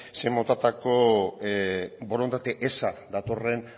zein motatako borondate eza datorren